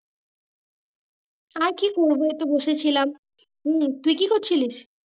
আর কি করবো একটু বসে ছিলাম তুই তুই কি করছিলিস?